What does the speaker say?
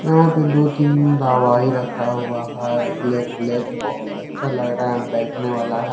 यहां पे दो तीन दवाई रखा हुआ है ब्लैक ब्लैक बहोत अच्छा लग रहा है बैठने वाला है।